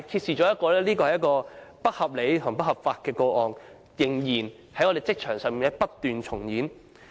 上述不合理及不合法的做法，在我們的職場上仍然不斷重演。